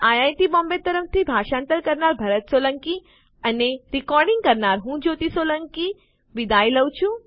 IIT Bombay તરફથી ભાષાંતર કરનાર હું ભરત સોલંકી વિદાય લઉં છું